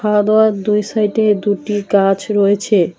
খাওয়া দাওয়ার দুই সাইডে দুটি গাছ রয়েছে।